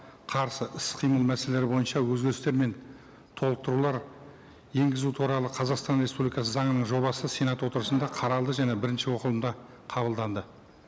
қарсы іс қимыл мәселелері бойынша өзгерістер мен толықтырулар енгізу туралы қазақстан республикасы заңының жобасы сенат отырысында қаралды және бірініші оқылымда қабылданды